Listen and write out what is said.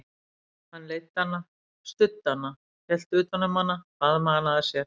Hann leiddi hana, studdi hana, hélt utan um hana, faðmaði hana að sér.